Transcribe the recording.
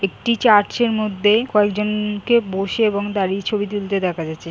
একটি চার্চের মধ্যে কয়েকজন-কে বসে এবং দাঁড়িয়ে ছবি তুলতে দেখা গছে।